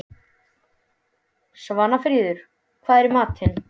Svanfríður, hvað er í matinn?